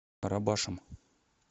карабашем